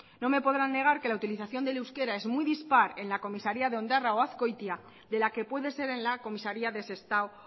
no me podrán negar que la utilización del euskera es muy dispar en la comisaría de ondarroa o azkoitia de la que puede ser en la comisaría de sestao